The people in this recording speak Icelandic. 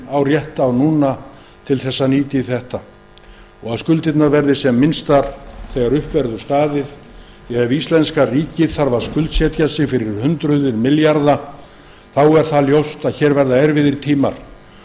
á rétt á núna til þess að nýta til þessa að skuldirnar verði sem minnstar þegar upp verður staðið því að ef íslenska ríkið þarf að skuldsetja sig fyrir hundruð milljarða er ljóst að erfiðir tímar eru fram